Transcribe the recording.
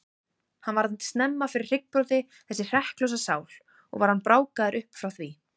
Hann varð snemma fyrir hryggbroti, þessi hrekklausa sál, og var hann brákaður upp frá því.